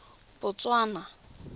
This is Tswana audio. botswana